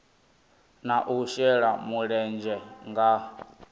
na u shela mulenzhe nga